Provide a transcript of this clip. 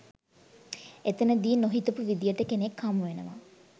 එතනදි නොහිතපු විදිහට කෙනෙක් හමු වෙනව